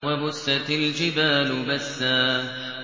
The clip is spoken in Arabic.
وَبُسَّتِ الْجِبَالُ بَسًّا